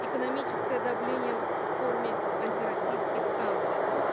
экономическое давление в форме антироссийских санкций